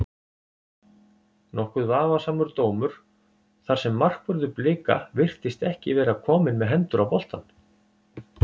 Nokkuð vafasamur dómur þar sem markvörður Blika virtist ekki vera komin með hendur á boltann.